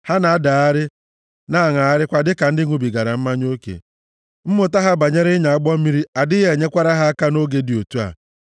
Ha na-adagharị, na-aṅagharịkwa dịka ndị ṅụbigara mmanya oke. Mmụta ha banyere ịnya ụgbọ mmiri adịghị enyekwara ha aka nʼoge dị otu a.